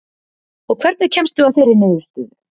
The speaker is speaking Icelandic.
Og hvernig kemstu að þeirri niðurstöðu?